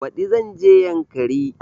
Baɗi zan je yankari